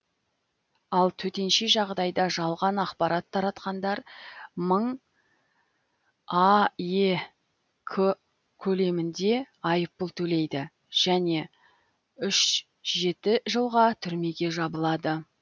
ал төтенше жағдайда жалған ақпарат таратқандар мың аек көлемінде айыппұл төлейді және үш жеті жылға түрмеге жабылады